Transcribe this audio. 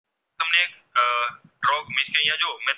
અહીંયા જો